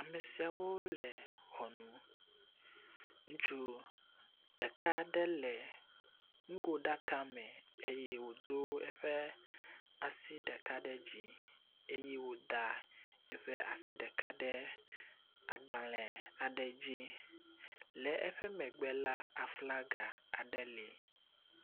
Amesiawo le ʋɔnu, ŋutsu ɖeka aɖe le nugoɖaka me eye wodo eƒe asi ɖeka ɖe dzi eye woda eƒe asi ɖeka ɖe agbalẽ aɖe dzi. Le eƒe megbe la aflaga ɖe le.